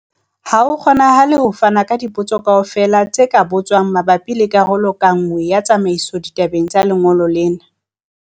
Ha ho kgonahale ho fana ka dipotso kaofela tse ka botswang mabapi le karolo ka nngwe ya tsamaiso ditabeng tsa lengolo lena.